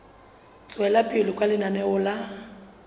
tswela pele ka lenaneo la